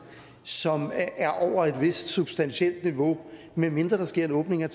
som er over et vist substantielt niveau medmindre der sker en åbning af